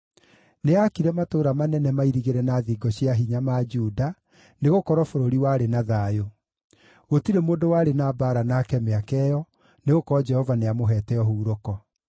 Nĩaakire matũũra manene mairigĩre na thingo cia hinya ma Juda, nĩgũkorwo bũrũri warĩ na thayũ. Gũtirĩ mũndũ warĩ na mbaara nake mĩaka ĩyo, nĩgũkorwo Jehova nĩamũheete ũhurũko.